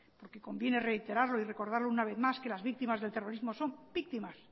porque conviene reiterarlo y recordarlo una vez más que las víctimas del terrorismo son víctimas